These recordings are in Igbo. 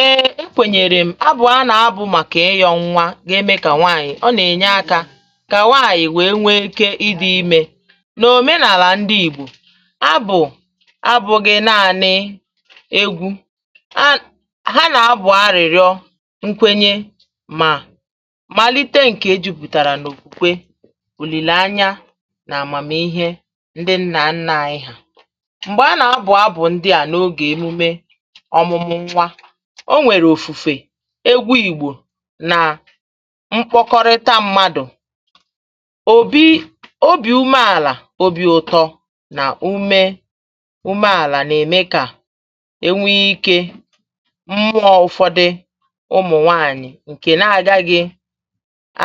"Èè! ekwènyèrè m, abụ̀ a nà-abụ̀ màkà ịyọ̇ nwa ga-emė kà nwaànyị̀, ọ nà-ènye akȧ kà nwaànyị̀ wèe nwee ike ịdị̇ imė. N’òmenàlà ndị ìgbò, abụ̀ abụ gị na-ànị egwu̇, ha ha nà-abụ̀ arị̀rịọ nkwenye mà malite ǹkè jupùtàrà n’òkwùkwe, ùlìlanya nà àmàmìhè ndị nnà nnȧ anyị ha. Mgbè a nà-abụ̀ abụ̀ ndị a n’ogè emume ọmụ̇mụ̇ nwa. ọ nwere ofufe egwú ìgbò nà mkpọkọrịta mmadụ̀, òbi òbi ume-àlà obi̇ ụ̀tọ nà ume ume-àlà nà-ème kà enwe ikė mmụọ̇ ụ̀fọdị ụmụ̀ nwaanyị̀ ǹkè nà-àga gị̇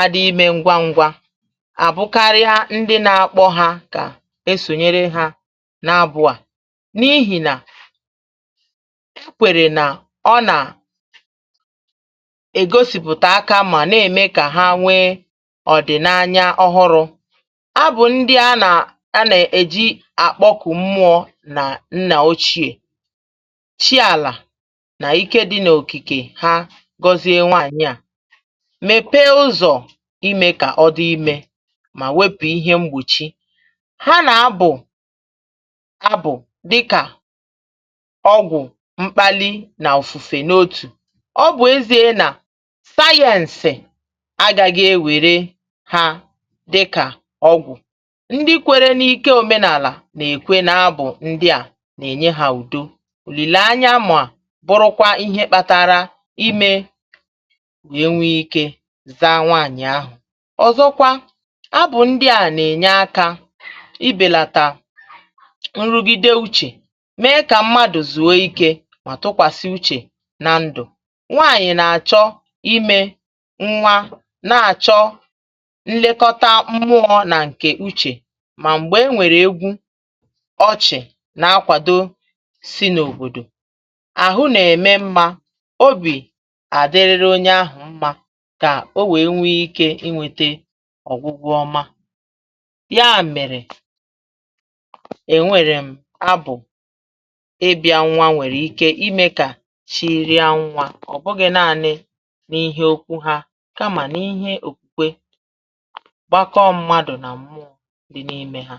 adị imė ngwa ngwa, àbụkarịa ndị nà-akpọ ha kà esònyere ha n’abụ̇ à n'ihi na ha kwere na ona ègosìpụ̀ta aka mà na-ème kà ha nwee ọ̀dị̀nanya ọhụrụ, abụ̀ ndị a nà a nà-èji àkpọkụ̀ mmụọ̇ nà nnà ochiè, chi àlà nà ike dị n’okìkè ha gọzie nwaànyị à mèpe ụzọ̀ imė kà ọ dị imė mà wepù ihe mgbochi, ha nà-abụ̀ abụ̀ dịkà ogwu mpkali na ofufe n’otu. Ọ bu ezi e na science a gàghị̀ ewère hȧ dịkà ọgwụ̀. Ndị kwere n’ike òmenàlà nà-èkwe nà abụ̀ ndị à nà-ènye hà ùdo, olìlìanya mà bụrụkwa ihe kpȧtȧrȧ imė enwe ike za anwaànyì ahụ̀. Ọzọkwa abụ̀ ndị à nà-ènye akȧ ibèlàtà nrugide uchè, mèe kà mmadụ̀ zùo ike ma tukwasi uche na ndu. Nwànyị̀ na-àchọ imė nwa na-àchọ nlekọta mụọ̇ nà ǹkè uchè mà m̀gbè e nwèrè egwu ọchị̀ nà-akwàdo si n’òbòdò. Ahụ nà-ème mmȧ obì àdịrịrị onye ahụ̀ mmȧ kà o nwèe nwee ikė inwėte ọ̀gwụgwụ ọma. Ya mèrè, ènwèrè m abụ̀ ịbịȧ nwa nwèrè ike ime ka chịrị a nwa ọ bụghị naanị n'ihe okwu ha kamà n’ihe òkwùkwe gbakọọ mmadụ̀ nà mmụọ dị n’ime ha.